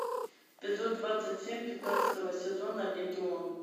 эпизод двадцать семь пятнадцатого сезона легион